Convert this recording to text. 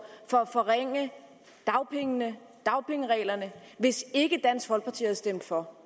for at forringe dagpengene og dagpengereglerne hvis ikke dansk folkeparti havde stemt for